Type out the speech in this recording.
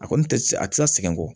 A kɔni tɛ a tɛ se ka sɛgɛn kɔ